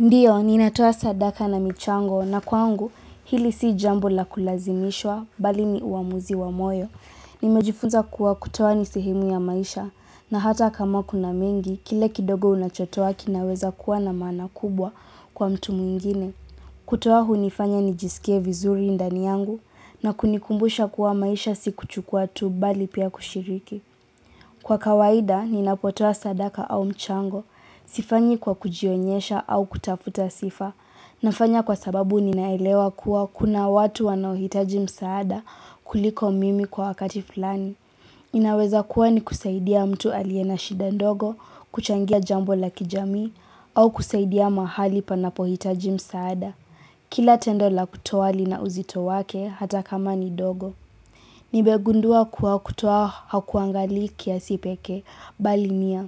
Ndio, ninatuo sadaka na michango na kwangu hili si jambo la kulazimishwa bali ni uamuzi wa moyo. Nimejifunza kuwa kutoa ni sehemu ya maisha na hata kama kuna mengi, kile kidogo unachotoa kinaweza kuwa na maana kubwa kwa mtu mwingine. Kutoa hunifanya nijisike vizuri ndani yangu na kunikumbusha kuwa maisha si kuchukua tu bali pia kushiriki. Kwa kawaida, ninapotoa sadaka au mchango. Sifanyi kwa kujionyesha au kutafuta sifa. Nafanya kwa sababu ninaelewa kuwa kuna watu wanahitaji msaada kuliko mimi kwa wakati fulani. Inaweza kuwa ni kusaidia mtu aliye na shida ndogo, kuchangia jambo la kijamii, au kusaidia mahali panapohitaji msaada. Kila tendola kutoa lina uzito wake hata kama ni dogo. Nimegundua kuwa kutoa hakuangali kiasi pekee bali nia.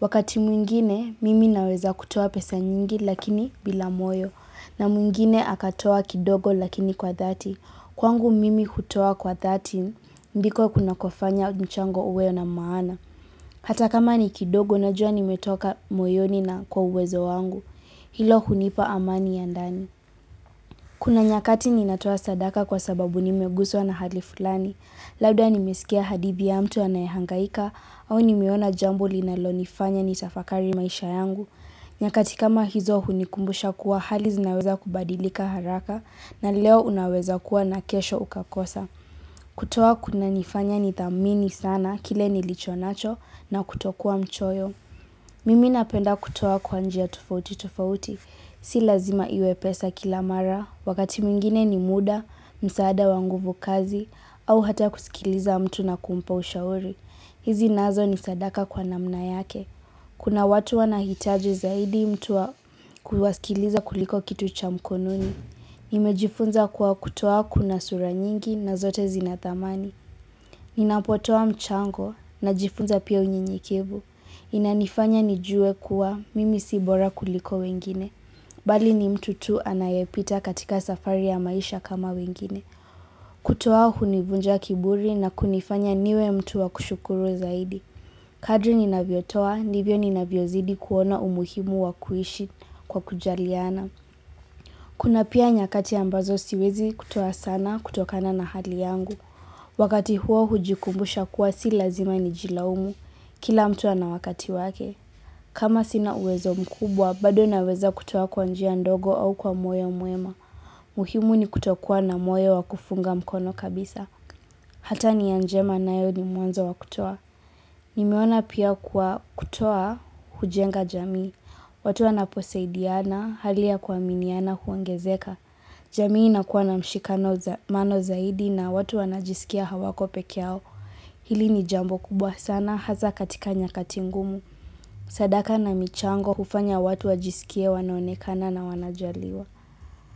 Wakati mwingine, mimi ninaweza kutoa pesa nyingi lakini bila moyo. Na mwingine akatoa kidogo lakini kwa dhati. Kwangu mimi kutoa kwa dhati, ndiko kuna kufanya nchango uwe na maana. Hata kama ni kidogo, najua nimetoka moyoni na kwa uwezo wangu. Hilo hunipa amani ya ndani. Kuna nyakati ninatoa sadaka kwa sababu nimeguzwa na hali fulani. Labda nimesikia hadidhi ya mtu anayehangaika au nimeona jambo linalo nifanya nitafakari maisha yangu. Nyakati kama hizo hunikumbusha kuwa hali zinaweza kubadilika haraka na leo unaweza kuwa na kesho ukakosa. Kutoa kunanifanya nidhamini sana kile nilicho nacho na kutokua mchoyo. Mimi napenda kutoa kwa njia tofauti tofauti. Si lazima iwe pesa kila mara, wakati mwingine ni muda, msaada wa nguvu kazi, au hata kusikiliza mtu na kumpa ushauri. Hizi nazo ni sadaka kwa namna yake. Kuna watu wanahitaji zaidi mtu wa kusikiliza kuliko kitu cha mkononi. Nimejifunza kuwa kutoa kuna sura nyingi na zote zina dhamani. Ninapotoa mchango najifunza pia unyenyekevu. Inanifanya nijue kuwa mimi si bora kuliko wengine. Bali ni mtu tu anayepita katika safari ya maisha kama wengine. Kutoa hunivunja kiburi na kunifanya niwe mtu wa kushukuru zaidi. Kadri ninavyotoa, nivyo ninavyozidi kuona umuhimu wa kuishi kwa kujaliana. Kuna pia nyakati ambazo siwezi kutoa sana kutokana na hali yangu. Wakati huo hujikumbusha kuwa si lazima nijilaumu kila mtu ana wakati wake. Kama sina uwezo mkubwa, bado naweza kutuo kwa njia ndogo au kwa moyo mwema. Muhimu ni kutokuwa na moyo wa kufunga mkono kabisa. Hata nia njema nayo ni mwanzo wa kutoa. Nimeona pia kuwa kutoa hujenga jamii. Watu wanaposaidiana, hali ya kuaminiana huongezeka. Jamii inakuwa na mshikano zaidi na watu wanajisikia hawako peke yao. Hili ni jambo kubwa sana, hasa katika nyakati ngumu. Sadaka na michango ufanya watu wajisikia wanaonekana na wanajaliwa.